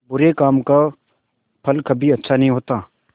बुरे काम का फल कभी अच्छा नहीं होता